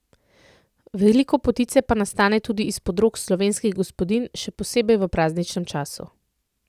Veliko potice pa nastane tudi izpod rok slovenskih gospodinj, še posebej v prazničnem času.